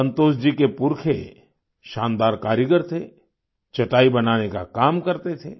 संतोष जी के पुरखे शानदार कारीगर थे चटाई बनाने का काम करते थे